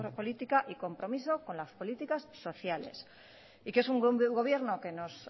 política y compromiso con las políticas sociales y que es un gobierno que nos